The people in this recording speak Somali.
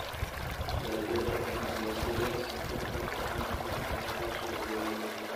Dalagyada ganacsiga sida sonkorta canabka ayaa leh suuq weyn.